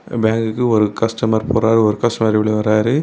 பேங்க்க்கு ஒரு கஸ்டமர் போறாரு ஒரு கஸ்டமர் வெளிய வராரு.